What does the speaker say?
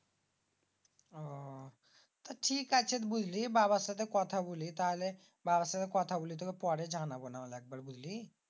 আহ তা ঠিক আছে বুঝলি বাবার সাথে কথা বলি। তারপর বাবার সাথে কথা বলি তুকে পরে জানাবোনি একবার বুঝলি?